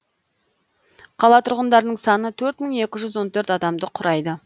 қала тұрғындарының саны төрт мың екі жүз он төрт адамды құрайды